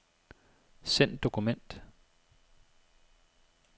Send dokument.